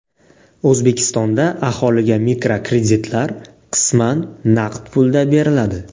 O‘zbekistonda aholiga mikrokreditlar qisman naqd pulda beriladi.